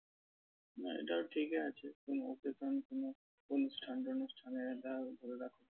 না এটাও ঠিকই আছে কোন occasion কোন অনুষ্ঠান-টনুষ্ঠান এ দেও